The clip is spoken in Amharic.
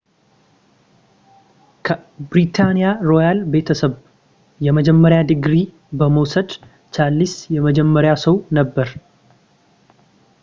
ከብሪታንያ ሮያል ቤተሰብ የመጀመሪያ ዲግሪ በመውሰድ ቻርለስ የመጀመሪያው ሰው ነበር